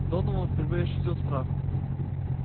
донован впервые ощутил страх